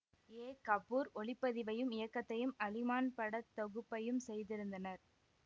ஏ கபூர் ஒளிப்பதிவையும் இயக்கத்தையும் அலிமான் பட தொகுப்பையும் செய்திருந்தனர்